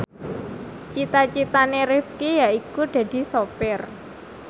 cita citane Rifqi yaiku dadi sopir